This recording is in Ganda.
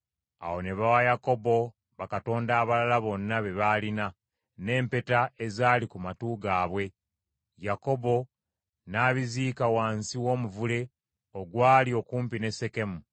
Awo ne bawa Yakobo bakatonda abalala bonna be baalina, n’empeta ezaali ku matu gaabwe; Yakobo n’abiziika wansi w’omuvule ogwali okumpi ne Sekemu.”